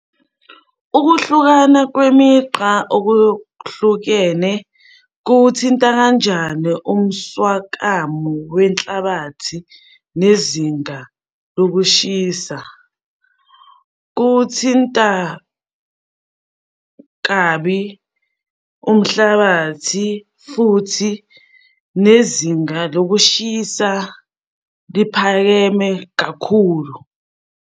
Ukuhlukana kwemigqa okuhlukene kuwuthinta kanjani umswakamo wenhlabathi nezinda lokushisa? Kuwuthinta kabi umhlabathi futhi nezinga lokushisa liphakeme kakhulu.